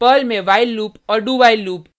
Perl में while loop और dowhile loop